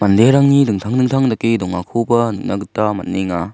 manderangni dingtang dingtang dake dongakoba nikna gita man·enga.